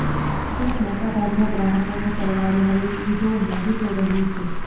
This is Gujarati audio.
અને મોટા ભાગના ગ્રાહકોને સરવાળે હવે ટીવી જોવું મોંઘુ થઈ રહ્યું છે